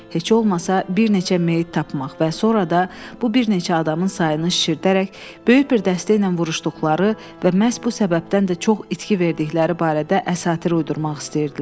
Heç olmasa bir neçə meyit tapmaq və sonra da bu bir neçə adamın sayını şişirdərək, böyük bir dəstə ilə vuruşduqları və məhz bu səbəbdən də çox itki verdikləri barədə əsatir uydurmaq istəyirdilər.